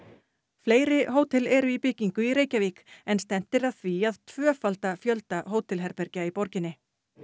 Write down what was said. fleiri hótel eru í byggingu í Reykjavík en stefnt er að því að tvöfalda fjölda hótelherbergja í borginni